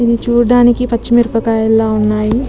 ఇధి చూడానికి పచ్చి మిరపకాయల ఉన్నాయ్.